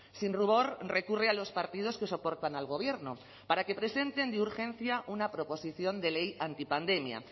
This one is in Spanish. sin rubor recurre a los partidos que soportan al gobierno para que presenten de urgencia una proposición de ley antipandemia